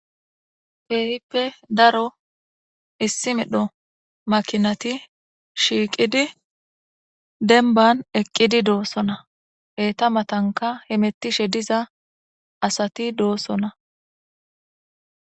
Kehippe dro issi medhdho makinat shiqid demban eqidi dosona etappe eta matankka hamutishe diza asati dossona